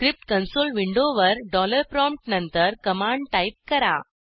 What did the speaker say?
script console विंडोवर dollar prompt नंतर command type करा